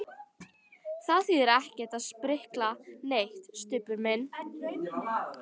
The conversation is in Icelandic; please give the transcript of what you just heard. Það þýðir ekkert að sprikla neitt, Stubbur minn.